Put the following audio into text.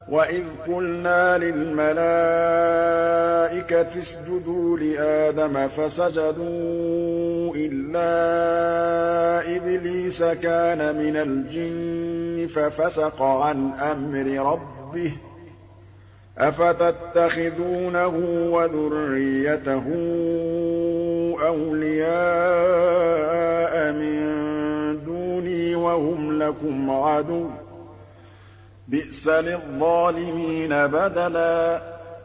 وَإِذْ قُلْنَا لِلْمَلَائِكَةِ اسْجُدُوا لِآدَمَ فَسَجَدُوا إِلَّا إِبْلِيسَ كَانَ مِنَ الْجِنِّ فَفَسَقَ عَنْ أَمْرِ رَبِّهِ ۗ أَفَتَتَّخِذُونَهُ وَذُرِّيَّتَهُ أَوْلِيَاءَ مِن دُونِي وَهُمْ لَكُمْ عَدُوٌّ ۚ بِئْسَ لِلظَّالِمِينَ بَدَلًا